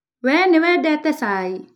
Wee nĩ wendete cai?